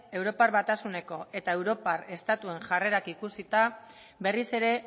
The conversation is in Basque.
europar batasuneko eta europar estatuen jarrerak ikusita berriz ere